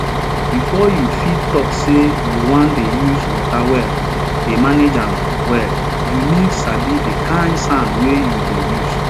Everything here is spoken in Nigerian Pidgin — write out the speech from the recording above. befo you fit tok say you wan dey use wata well dey manage am well you need sabi di kind sand wey you dey use